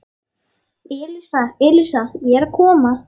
Elísa, Elísa, ég er að koma